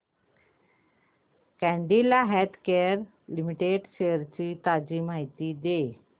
Cadila healthcare limited shares ची ताजी माहिती दे